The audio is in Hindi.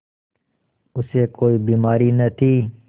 उसे कोई बीमारी न थी